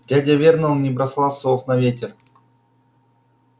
дядя вернон не бросал слов на ветер